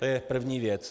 To je první věc.